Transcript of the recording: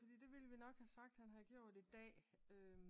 Fordi det vil vi nok have sagt i dag